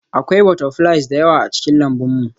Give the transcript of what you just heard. Akwai butterflies da yawa a cikin lambun mu